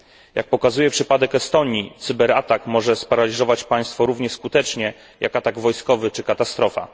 Jak pokazuje przypadek Estonii, cyberatak może sparaliżować państwo równie skutecznie jak atak wojskowy czy katastrofa.